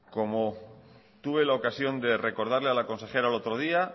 como tuve la ocasión de recordarle a la consejera el otro día